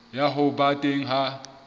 ya ho ba teng ha